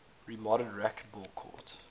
remodeled racquetball courts